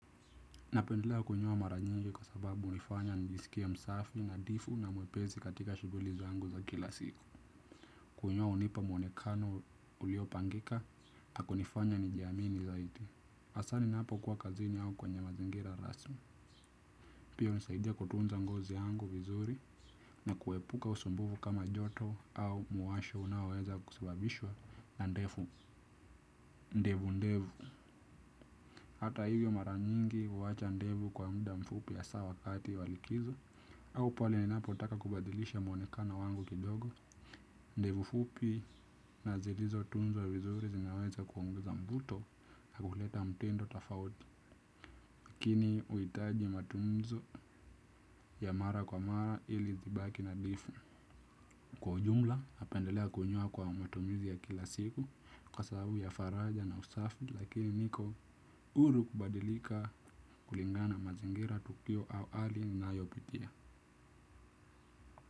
Napendelea kunyoa mara nyingi kwa sababu hunifanya nijisikie msafi nadhifu na mwepesi katika shughuli zangu za kila siku. Kunyoa hunipa mwonekano uliopangika na kunifanya nijiamini zaidi. Hasa ninapokuwa kazini au kwenye mazingira rasmi. Pia hunisaidia kutunza ngozi yangu vizuri na kuepuka usumbufu kama joto au mwasho unaoweza kusababishwa na ndevu. Ndevu ndevu. Hata hivyo mara nyingi huwacha ndevu kwa muda mfupi hasaa wakati wa likizo. Au pale ninapotaka kubadilisha mwonekano wangu kidogo ndevu fupi na zilizotunzwa vizuri zinaweza kuongeza mvuto na huleta mtindo tofauti. Lakini huhitaji matunzo ya mara kwa mara ili zibaki nadhifu kwa ujumla napendelea kunyoa kwa matumizi ya kila siku kwa sababu ya faraja na usafi lakini niko huru kubadilika kulingana na mazingira tukio au hali ninayopitia.